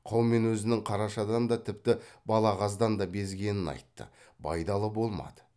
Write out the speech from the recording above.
қаумен өзінің қарашадан да тіпті балағаздан да безгенін айтты байдалы болмады